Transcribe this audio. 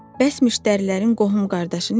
Bəs müştərilərin qohum-qardaşı necə?